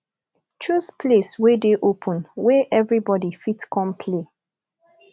choose place wey de open wey everybody fit come play